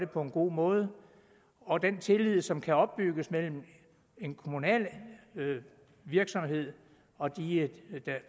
på en god måde og den tillid som kan opbygges mellem en kommunal virksomhed og de